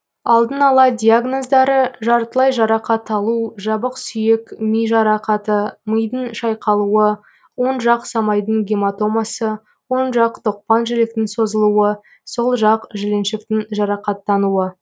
алдын ала диагноздары жартылай жарақат алу жабық сүйек ми жарақаты мидың шайқалуы оң жақ самайдың гематомасы оң жақ тоқпан жіліктің созылуы сол жақ жіліншіктің жарақаттануы